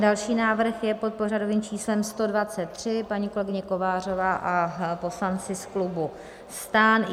Další návrh je pod pořadovým číslem 123, paní kolegyně Kovářová a poslanci z klubu STAN.